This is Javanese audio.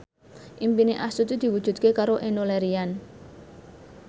impine Astuti diwujudke karo Enno Lerian